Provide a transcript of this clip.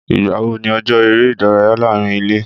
Ìgbà wo ni ọjọ́ eré ìdárayá láàárín ilé?